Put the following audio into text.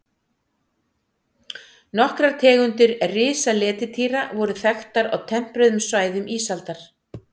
Nokkrar tegundir risaletidýra voru þekktar á tempruðum svæðum ísaldar.